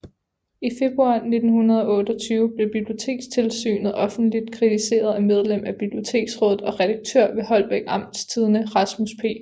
I februar 1928 blev Bibliotekstilsynet offentligt kritiseret af medlem af Biblioteksrådet og redaktør ved Holbæk Amtstidende Rasmus P